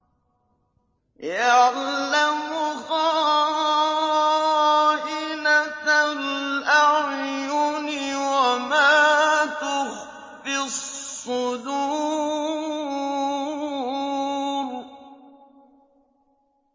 يَعْلَمُ خَائِنَةَ الْأَعْيُنِ وَمَا تُخْفِي الصُّدُورُ